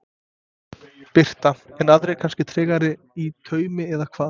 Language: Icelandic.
Birta: En aðrir kannski tregari í taumi eða hvað?